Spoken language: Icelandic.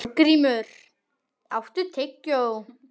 Þorgrímur, áttu tyggjó?